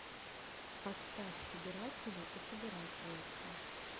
поставь собиратели и собирательницы